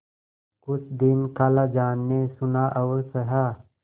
कुछ दिन खालाजान ने सुना और सहा